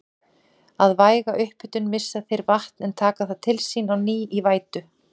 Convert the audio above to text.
Við væga upphitun missa þeir vatn en taka það til sín á ný í vætu.